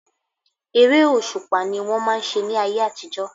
Eré òṣùpá ni wọ́n máà ń ṣe ní ayé àtijọ́.